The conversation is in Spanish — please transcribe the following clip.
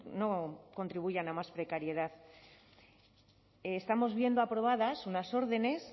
no contribuyan a más precariedad estamos viendo aprobadas unas órdenes